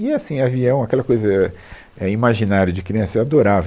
E, assim, avião, aquela coisa, é, é, imaginário de criança, eu adorava.